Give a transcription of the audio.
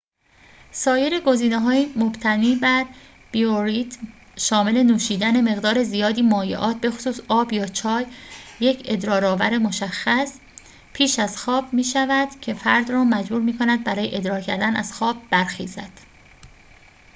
سایر گزینه‌های مبتنی بر بیوریتم شامل نوشیدن مقدار زیادی مایعات بخصوص آب یا چای، یک ادرارآور مشخص پیش از خواب می‌شود که فرد را مجبور می‌کند برای ادرار کردن از خواب برخیزد